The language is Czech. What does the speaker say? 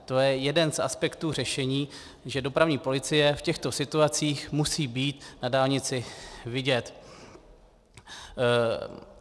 To je jeden z aspektů řešení, že dopravní policie v těchto situacích musí být na dálnici vidět.